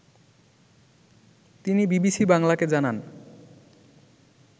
তিনি বিবিসি বাংলাকে জানান